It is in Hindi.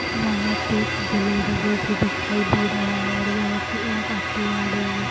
यहां पे एक गैलरी जैसे दिखाई दे रहा है और यहां पे एक ऑटो आ रही है।